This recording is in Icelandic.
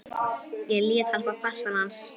Ég lét hann fá passann hans